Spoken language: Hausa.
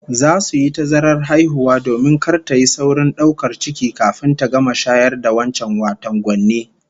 Za su yi tazarar haihuwa domin kar tayi saurin daukar ciki kafin ta gama shayar da wancan, wato gwanne